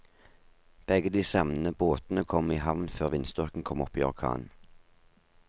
Begge de savnede båtene kom i havn før vindstyrken kom opp i orkan.